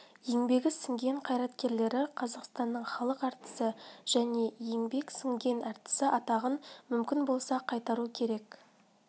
еңбегі сіңген қайраткерлері қазақстанның халық әртісі және еңбегі сіңген әртісі атағын мүмкін болса қайтару керек